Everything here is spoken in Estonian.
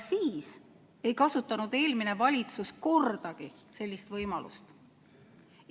Siis ei kasutanud eelmine valitsus kordagi sellist võimalust.